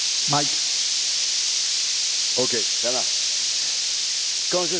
Je suis intervenu sur la question de la différence entre la fraude et la contrefaçon